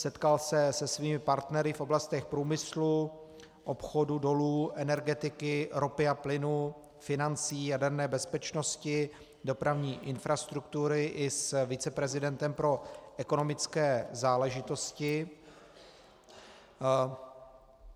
Setkal se se svými partnery v oblastech průmyslu, obchodu, dolů, energetiky, ropy a plynu, financí, jaderné bezpečnosti, dopravní infrastruktury i s viceprezidentem pro ekonomické záležitosti.